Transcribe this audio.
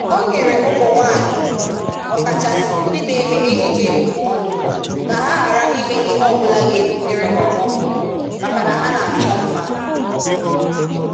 O nyere ụmụnwaanyị, ọkachasị ndị na-eme ejije ndụmọdụ ka ha ghara ime ihe ọbụla ga-ebutere ha ọghọm maka na ha na-achọ mma.